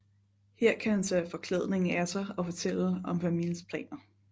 Her kan han tage forklædningen af sig og fortælle om Vermiels planer